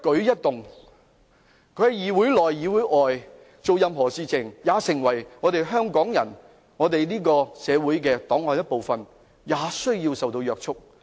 他們在議會內外的一舉一動皆要成為香港社會檔案的一部分，並受到有關法例約束。